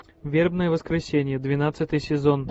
вербное воскресенье двенадцатый сезон